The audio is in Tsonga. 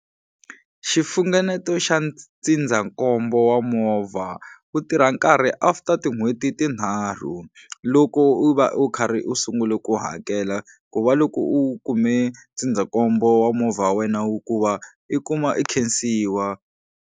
Xifungeneto xa ndzindzankombo wa movha wu tirha nkarhi after tin'hweti tinharhu loko u va u karhi u sungule ku hakela ku va loko u kume ndzindzakombo wa movha wa wena wu ku va i kuma i khensiwa.